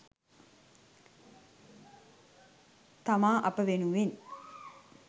තමා අප වෙනුවෙන්